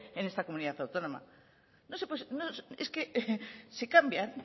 en esta comunidad autónoma es que se cambian